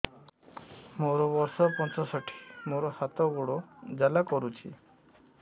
ମୋର ବର୍ଷ ପଞ୍ଚଷଠି ମୋର ହାତ ଗୋଡ଼ ଜାଲା କରୁଛି